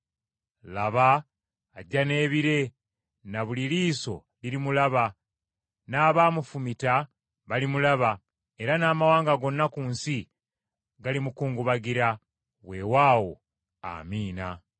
“Laba, ajja n’ebire, na buli liiso lirimulaba, n’abaamufumita balimulaba, era n’amawanga gonna ku nsi galimukungubagira.” Weewaawo. Amiina!